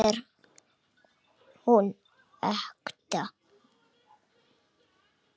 Varla er hún ekta.